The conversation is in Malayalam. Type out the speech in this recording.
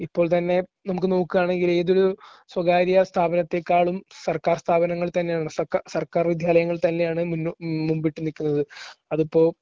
ഇപ്പോൾ തന്നെ നമുക്ക് നോക്കുകാണെങ്കിൽ ഏതൊരു സ്വകാര്യ സ്ഥാപനത്തെക്കാളും സർക്കാർ സ്ഥാപനങ്ങൾ തന്നെയാണ് സക്കാ സർക്കാർ വിദ്യാലയങ്ങൾ തന്നെയാണ് മുന്നോ മുൻപിട്ടുനിൽക്കുന്നത്. അതിപ്പോ